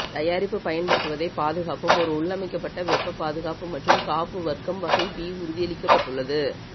தயாரிப்பு பயன்படுத்துவதை பாதுகாப்பும் ஒரு உள்ளமைக்கப்பட்ட வெப்ப பாதுகாப்பு மற்றும் காப்பு வர்க்கம் வகை பி உறுதியளிக்கப்பட்டுள்ளது